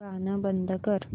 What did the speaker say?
गाणं बंद कर